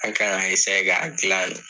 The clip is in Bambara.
Anw kan k'a ka jilan de.